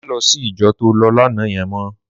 Má lò si ijò tó lò làná yèn mò